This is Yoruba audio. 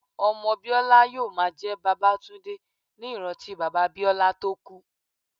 Ọmọ Biola yóò máa jẹ́ Babatunde ní ìrántí bàbá Biola tó kú.